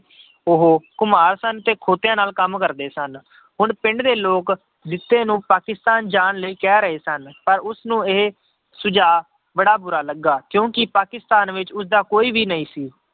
ਉਹ ਘੁਮਾਰ ਸਨ ਤੇ ਖੋਤਿਆਂ ਨਾਲ ਕੰਮ ਕਰਦੇ ਸਨ, ਹੁਣ ਪਿੰਡ ਦੇ ਲੋਕ ਜਿੱਤੇ ਨੂੰ ਪਾਕਿਸਤਾਨ ਜਾਣ ਲਈ ਕਹਿ ਰਹੇ ਸਨ ਪਰ ਉਸਨੂੰ ਇਹ ਸੁਝਾਅ ਬੜਾ ਬੁਰਾ ਲੱਗਾ ਕਿਉਂਕਿ ਪਾਕਿਸਤਾਨ ਵਿੱਚ ਉਸਦਾ ਕੋਈ ਵੀ ਨਹੀਂ ਸੀ